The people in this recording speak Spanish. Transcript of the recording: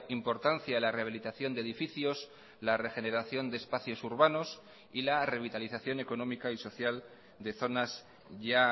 importancia la rehabilitación de edificios la regeneración de espacios urbanos y la revitalización económica y social de zonas ya